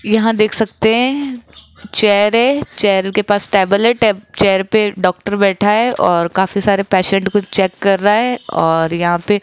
यहां देख सकते है चेयर है चेयर के पास टेबल है टैब चेयर पे डॉक्टर बैठा है और काफी सारे पेशेंट को चेक कर रा है और यहां पे --